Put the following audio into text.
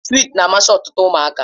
Swiiti na-amasị ọtụtụ ụmụaka.